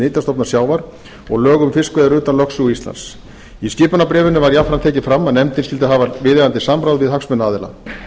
nytjastofna sjávar og lög um fiskveiðar utan lögsögu íslands í skipunarbréfinu var jafnframt tekið fram að nefndin skyldi hafa viðeigandi samráð við hagsmunaaðila